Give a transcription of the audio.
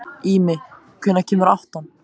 Ími, hvenær kemur áttan?